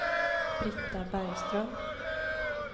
Britta Bergström